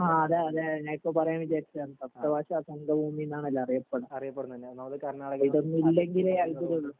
ആ അതെ അതെ ഞൻ ഇപ്പോ പറയാൻ വിചാരിച്ചെണ് കർത്ത ഭാഷ സാങ്ക ഭൂമി ന്നല്ലേ അറിയപെടണേ ഇതൊന്നും ഇല്ലെങ്കിലേ അത്ഭുതൊള്ളൂ